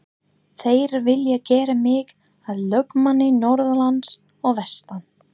Þeir vilja gera mig að lögmanni norðanlands og vestan.